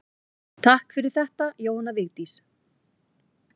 Takk fyrir þetta Jóhanna Vigdís.